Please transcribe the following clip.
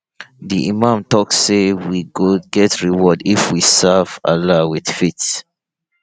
di imam talk say we go get reward if we serve allah with faith